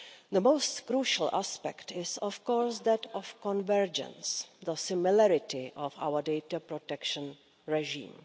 The most crucial aspect is, of course, that of convergence, the similarity of our data protection regime.